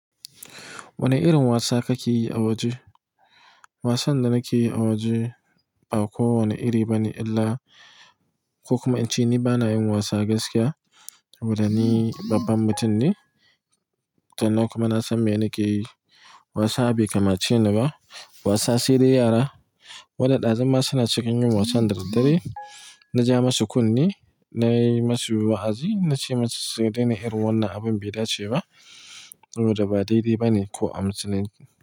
Wane irin wasa kake yi a waje? Wasan da nake yi a waje ba kowane iri bane illa, ko kuma in ce ni bana yin wasa gaskiya saboda ni babban mutum ne. Tannan kuma na san me nake yi. Wasa bai kamace ni ba. Wasa sai dai yara wanda ɗazuma ma suna cikin yin wasan da daddare. Na ja masu kunne, na yi masu wa'azi, na ce masu su dai na irin wannan abin bai dace ba saboda ba daidai ba ne ko a musulunci.